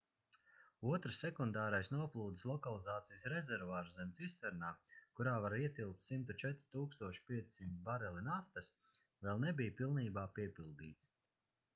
otrs sekundārais noplūdes lokalizācijas rezervuārs zem cisternām kurā var ietilpt 104 500 bareli naftas vēl nebija pilnībā piepildīts